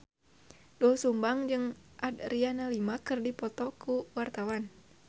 Doel Sumbang jeung Adriana Lima keur dipoto ku wartawan